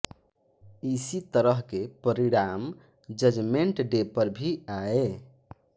इसी तरह के परिणाम जजमेंट डे पर भी आए